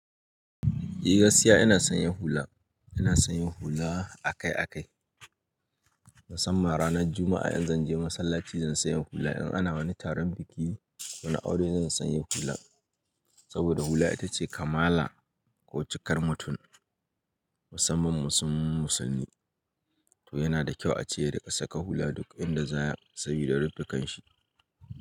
Eh gaskiya ina sanya hula, ina sanya hula akai-akai musamman ranar Juma'a in zan je masallaci zan sanya hula in ana wani taron biki ko na aure zan sanya hula saboda hula ita ce kamala ko cikar mutum musamman musum musulmi. To yana da kyau ace yarika saka hula duk inda za ya sabida rufe kan shi.